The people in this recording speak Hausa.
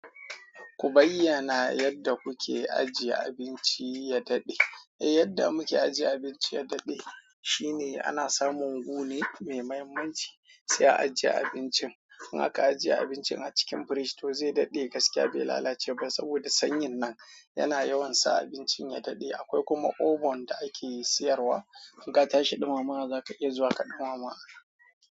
Ku bayyana yadda kuke ajiye abinci ya daɗe. Yadda muke ajiye abinci ya daɗe shine ana samun gu ne mai muhimmanci sai a ajiye abincin in aka ajiye abincin a cikin firiji, toh zai daɗe gaskiya bai lalace ba saboda sanyin nan yana yawan sa abincin ya daɗe. Akwai kuma oven da ake siyarwa. In ka tashi ɗumamawa za ka iya zuwa ka ɗumama.